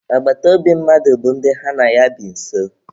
Agbataobi mmadụ bụ ndị ha na ya bi nso.